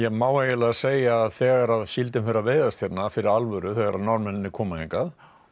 má eiginlega segja að þegar síldin fer að veiðast hérna fyrir alvöru þegar Norðmennirnir koma hingað